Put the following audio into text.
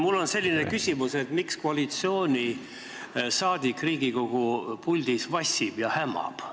Mul on selline küsimus: miks koalitsiooniliige Riigikogu puldis vassib ja hämab?